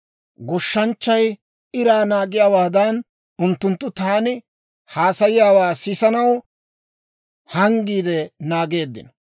Goshshanchchay iraa naagiyaawaadan, unttunttu taani haasayanawaa sisanaw hanggiide naageeddino.